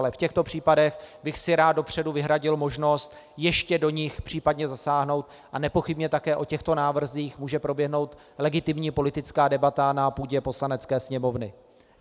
Ale v těchto případech bych si rád dopředu vyhradil možnost ještě do nich případně zasáhnout a nepochybně také o těchto návrzích může proběhnout legitimní politická debata na půdě Poslanecké sněmovny.